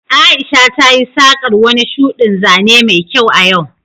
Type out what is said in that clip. Aisha tayi saƙar wani shuɗin zane mai kyau a yau